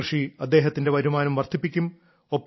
ഈ കൃഷി അദ്ദേഹത്തിന്റെ വരുമാനം വർദ്ധിപ്പിക്കും